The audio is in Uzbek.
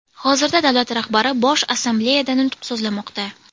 Hozirda davlat rahbari Bosh Assambleyada nutq so‘zlamoqda.